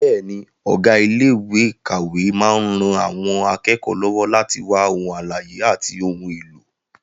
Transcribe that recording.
Bẹ́ẹ̀ni, ọ̀gá ilé ìkàwé máa ń ran àwọn akẹ́kọ̀ọ́ lọ́wọ́ láti wá ohun àlàyé àti ohun èlò.